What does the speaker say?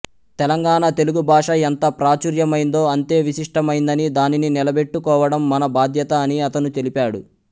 తెలంగాణ తెలుగు భాష ఎంత ప్రాచుర్యమైందో అంతే విశిష్టమైందని దానిని నిలబెట్టుకోవడం మన బాధ్యత అని అతను తెలిపాడు